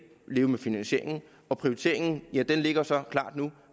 leve med finansieringen og prioriteringen ligger så klar nu